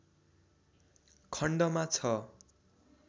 खण्डमा छ